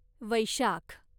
वैशाख